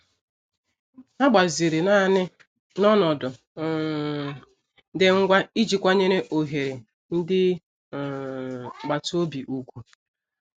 Ha gbaziri naanị n'ọnọdụ um dị ngwa iji kwanyere ohere ndị um agbata obi ùgwù.